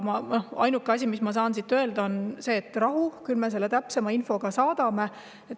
Ainus asi, mida ma saan siit öelda, on: rahu, küll me selle täpsema info ka saadame.